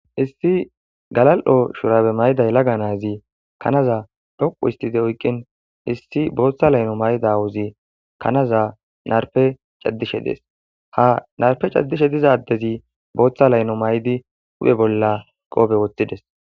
issi galal7o shurabe mayday yelaga naazi kanaza dhoqu istide oykqin issi booththa layno maydawuzi kanaza narpe caddishe dees ha narpe caddishe dizaddezi booththa layno maydi huphe bolla qoobe wothtides